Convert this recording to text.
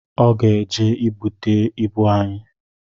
Ọ ga-eje igbute ịbụ anyị